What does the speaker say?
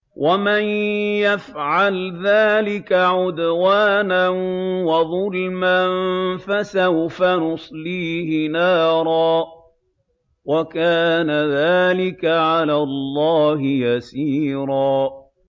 وَمَن يَفْعَلْ ذَٰلِكَ عُدْوَانًا وَظُلْمًا فَسَوْفَ نُصْلِيهِ نَارًا ۚ وَكَانَ ذَٰلِكَ عَلَى اللَّهِ يَسِيرًا